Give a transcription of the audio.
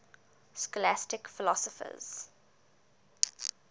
scholastic philosophers